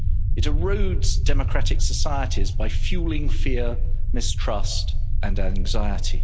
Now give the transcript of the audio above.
It erodes democratic societies by fuelling fear, mistrust and anxiety.